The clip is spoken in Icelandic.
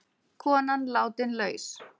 Konan látin laus